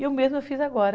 E eu mesma fiz agora.